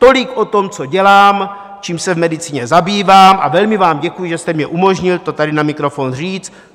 Tolik o tom, co dělám, čím se v medicíně zabývám, a velmi vám děkuji, že jste mi umožnil to tady na mikrofon říct.